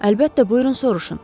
Əlbəttə buyurun soruşun.